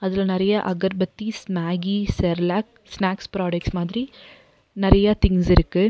இதுல நெறைய agarbattis Maggi Cerelac snacks product மாதிரி நெறையா திங்ஸ் இருக்கு.